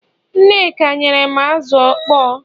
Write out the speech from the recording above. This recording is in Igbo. nneka nyerem azu okpo